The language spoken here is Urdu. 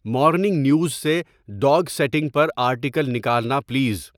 مارننگ نیوز سے ڈاگ سیٹنگ پر آرٹیکل نکالنا پلیز